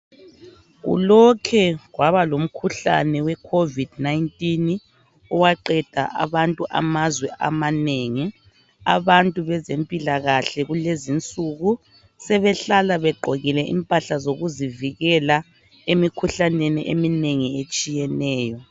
kulokhe kwabalomkhuhlane we covid 19 owaqeda abantu amazwe amanengi abantu bezempilakahle kulezo isuku sebehlala begqokile imphahla zokuzivikela emikhuhlaneni etshiyeneyo